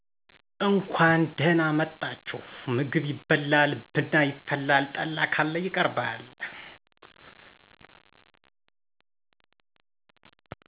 እንኳን ደህና መጣችሁ ምግብ ይበላል ብና ይፈላል ጠላ ካለ ይቀርባል